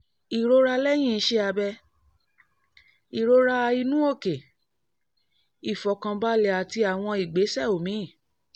ìrora lẹ́yìn iṣẹ́ abẹ ìrora inú òkè ìfọ̀kànbalẹ̀ àti àwọn ìgbésẹ̀ omi